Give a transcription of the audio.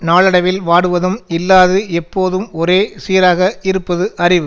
நாளடைவில் வாடுவதும் இல்லாது எப்போதும் ஒரே சீராக இருப்பது அறிவு